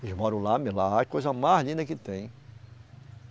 Eles moram lá mesmo, lá é a coisa mais linda que tem.